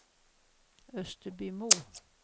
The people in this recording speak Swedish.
Österbymo